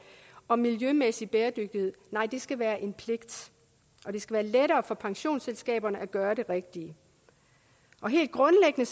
og miljømæssig bæredygtighed nej det skal være en pligt og det skal være lettere for pensionsselskaberne at gøre det rigtige helt grundlæggende